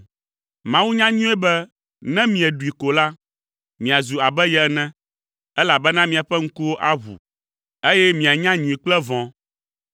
Mawu nya nyuie be ne mieɖui ko la, miazu abe ye ene, elabena miaƒe ŋkuwo aʋu, eye mianya nyui kple vɔ̃.”